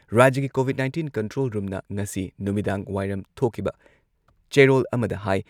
ꯔꯥꯖ꯭ꯌꯒꯤ covid nineteen control ꯔꯨꯝꯅ ꯉꯁꯤ ꯅꯨꯃꯤꯗꯥꯡꯋꯥꯏꯔꯝ ꯊꯣꯛꯈꯤꯕ ꯆꯦꯔꯣꯜ ꯑꯃꯗ ꯍꯥꯏ